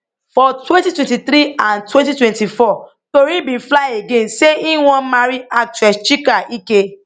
for 2023 and 2024 tori bin fly again say im wan marry actress chika ike